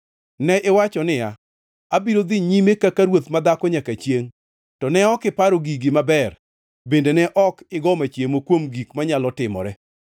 Ne iwacho niya, Abiro dhi nyime kaka ruoth madhako nyaka chiengʼ! To ne ok iparo gigi maber bende ne ok igo machiemo kuom gik manyalo timore.